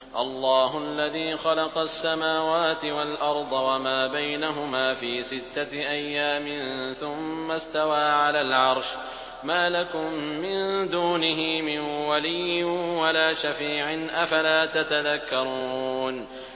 اللَّهُ الَّذِي خَلَقَ السَّمَاوَاتِ وَالْأَرْضَ وَمَا بَيْنَهُمَا فِي سِتَّةِ أَيَّامٍ ثُمَّ اسْتَوَىٰ عَلَى الْعَرْشِ ۖ مَا لَكُم مِّن دُونِهِ مِن وَلِيٍّ وَلَا شَفِيعٍ ۚ أَفَلَا تَتَذَكَّرُونَ